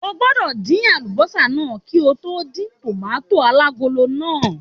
O gbọ́dọ̀ dín àlùbọ́sà náà kí ó tó dín tòmátósì alágolo náà!